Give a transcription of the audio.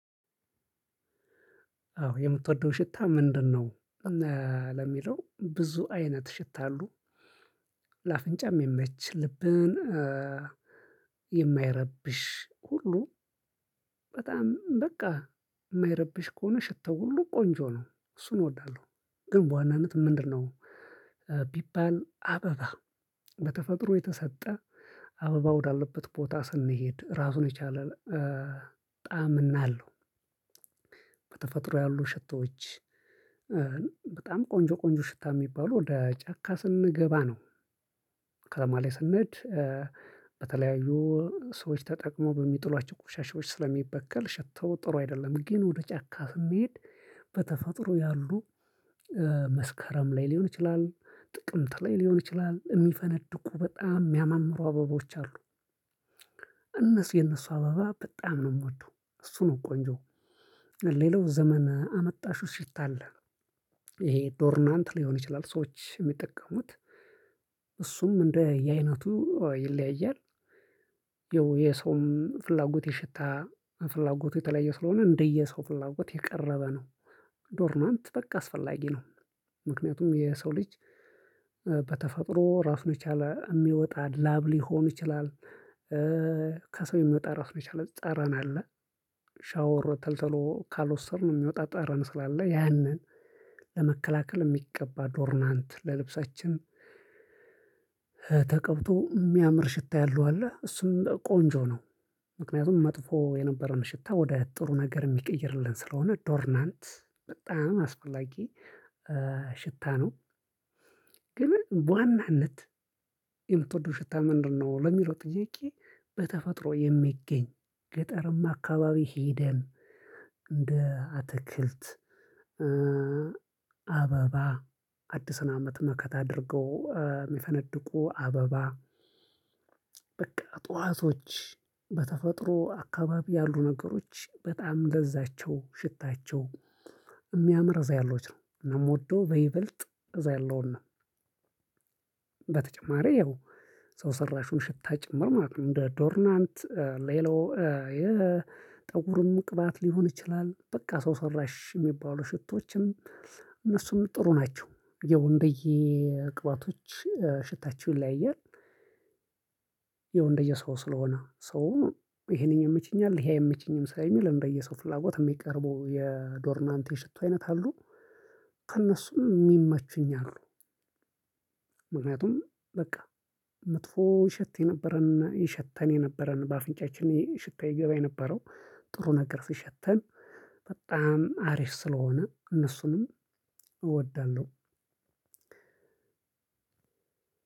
አዎ የምትወደው ሽታ ምንድነው? ለሚለው ብዙ አይነት ሽታ አሉ። ለአፍንጫም የሚመች ልብን የማይረብሽ ሁሉ። በጣም በቃ የማይረብሽ ከሆነ ሽተው ሁሉ ቆንጆ ነው እሱን እወዳለሁ። ግን በዋናነት ምንድነው? ቢባል አበባ በተፈጥሮ የተሰጠ አበባ ወዳለበት ቦታ ስንሄድ ራሱን የቻለ ጣዕም እናለው። ያሉ ሽቶዎች በጣም ቆንጆ ቆንጆ ሽታ የሚባሉ ወደ ጫካ ስንገባ ነው። ከተማ ላይ ስንሄድ። በተለያዩ ሰዎች ተጠቅሞ በሚጥሏቸው ቁሻሻዎች ስለሚበከል ሽተው ጥሩ አይደለም። ግን ወደ ጫካህ መሄድ። በተፈጥሮ ያሉ መስከረም ላይ ሊሆን ይችላል ጥቅምት ላይ ሊሆን ይችላል የሚፈነድቁ በጣም የሚያማምሩ አበቦች አሉ። እነሱ የነሱ አበባ በጣም ነው የምወደው እሱ ነው ቆንጆ። ሌላው ዘመን አመጣሽው ሽታ አለ። ይሄ ዶርናንት ሊሆን ይችላል ሰዎች የሚጠቀሙት እሱም እንደ የአይነቱ ይለያያል። ይኸው የሰውም ፍላጎት የሽታ ፍላጎት የተለየ ስለሆነ እንደየ ሰው ፍላጎት የቀረበ ነው። ዶርናት ነው አንተ በቃ አስፈላጊ ነው። ምክንያቱም የሰው ልጅ በተፈጥሮ ራሱን የቻለ የሚወጣ ላብ ሊሆን ይችላል። ከሰው የሚወጣ ራሱ መቻል ጠረን አለ። ሻወር ተልተሎ ካልወሰድን ነው የሚወጣ ጠረን ስላለ ያንን ለመከላከል የሚቀባ ዶርናንት ለልብሳችን። ልብሳችን ተቀብቶ የሚያምር ሽታ ያለው አለ እሱም ቆንጆ ነው። ምክንያቱም መጥፎ የነበረውን ሽታ ወደ ጥሩ ነገር የሚቀይርልን ስለሆነ ዶርናንት በጣም አስፈላጊ ሽታ ነው። ግን በዋናነት የምትወደው ሽታ ምንድነው? ለሚለው ጥዬቄ በተፈጥሮ የሚገኝ ገጠርም አካባቢ ሄደን እንደ አትክልት አበባ አዲስን አመት መከታ አድርገው የሚፈነድቁ አበባ በቃ ጠዋቶች በተፈጥሮ አካባቢ ያሉ ነገሮች በጣም ለዛቸው ሽታቸው የሚያምር እዛ ያሎች ነው እናም የምወደው በይበልጥ እዛ ያለውን ነው። በተጨማሪ ያው ሰው ሰራሹን ሽታ ጭምር ማለት ነው እንደ ዶርናንት ሌሎ። የጠጉርም ቅባት ሊሆን ይችላል በቃ ሰው ሰራሽ የሚባሉ ሽቶችም እነሱም ጥሩ ናቸው ይኸው እንደየቅባቶች ሽታቸውን ይለያያል። ይኸው እንደየሰው ስለሆነ ሰው ይሄንኜው የመቸኛል ይሄ አይመቸኝም ስለሚል እንደየሰው ፍላጎት የሚቀርቡ የዶርናንቴ ሽቶ አይነት አሉ። ከእነሱም የሚመችኝ አሉ። ምክንያቱም በቃ መጥፎ ይሸት የነበረና ይሸተን የነበረን በአፍንጫችን ይሄ ሽታ ይገባ የነበረው ጥሩ ነገር ስሸተን በጣም አሪፍ ስለሆነ እነሱንም እወዳለሁ።